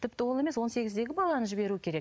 тіпті оны емес он сегіздегі баланы жіберу керек